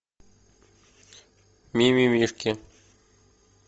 мимимишки